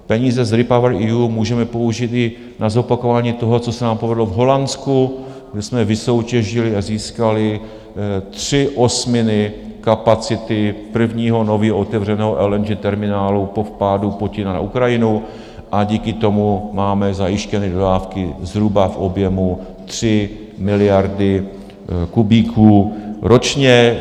Peníze z REPowerEU můžeme použít i na zopakování toho, co se nám povedlo v Holandsku, kde jsme vysoutěžili a získali tři osminy kapacity prvního nově otevřeného LNG terminálu po vpádu Putina na Ukrajinu, a díky tomu máme zajištěny dodávky zhruba v objemu 3 miliardy kubíků ročně.